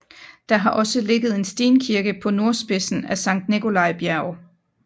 Der har også ligget en stenkirke på nordspidsen af Sankt Nikolaj Bjerg